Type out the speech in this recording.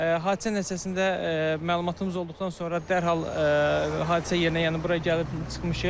Hadisə nəticəsində məlumatımız olduqdan sonra dərhal hadisə yerinə, yəni bura gəlib çıxmışıq.